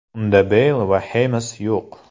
Unda Beyl va Xames yo‘q.